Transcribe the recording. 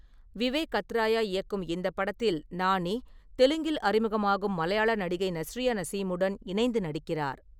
விவேக் அத்ரேயா இயக்கும் இந்தப் படத்தில் நானி, தெலுங்கில் அறிமுகமாகும் மலையாள நடிகை நஸ்ரியா நசீமுடன் இணைந்து நடிக்கிகிறார்.